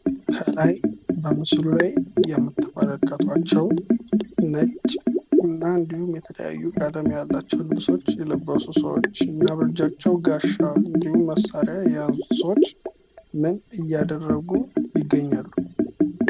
ከላይ በምስሉ ላይ የምትመለከቷቸው ነጭ እንድሁም የተለያዩ ቀለም ያላቸው ልብሶች የለበሱ ሰዎች እና በእጃቸው ጋሻ እንድሁም መሳሪያ የያዙ ሰዎች ምን እያደረጉ ይገኛሉ?